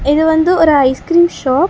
இது வந்து ஒரு ஐஸ் கிரீம் ஷாப் .